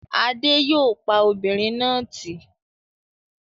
Adé yòó pa obìnrin náà tì